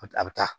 A a bɛ taa